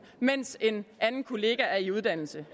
mens en anden kollega er i uddannelse